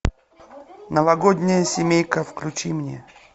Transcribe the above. новогодняя семейка включи мне